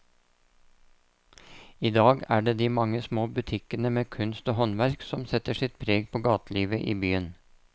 I dag er det de mange små butikkene med kunst og håndverk som setter sitt preg på gatelivet i byen.